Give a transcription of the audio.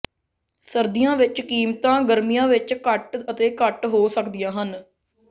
ਸਰਦੀਆਂ ਵਿੱਚ ਕੀਮਤਾਂ ਗਰਮੀਆਂ ਵਿੱਚ ਘੱਟ ਅਤੇ ਘੱਟ ਹੋ ਸਕਦੀਆਂ ਹਨ